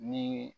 Ni